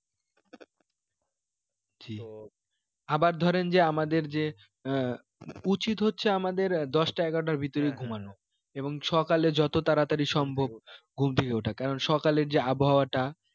জি আবার ধরেন যে আমাদের যে আহ উচিত হচ্ছে আমাদের দশটা এগারোটার ভিতরে ঘুমানো এবং সকালে যত তাড়াতাড়ি সম্ভব ঘুম থেকে ওঠা কারণ সকালে যে আবহাওয়াটা